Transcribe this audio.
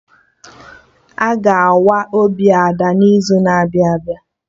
Aga awa obi Ada n'izu na-abịa abịa